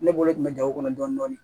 Ne bolo kun bɛ ja o kɔnɔ dɔni dɔni